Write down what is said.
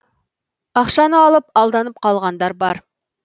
ақшаны алып алданып қалғандар бар